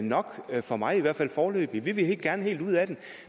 nok for mig i hvert fald foreløbig vi vil gerne helt ud af den